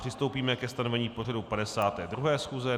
Přistoupíme ke stanovení pořadu 52. schůze.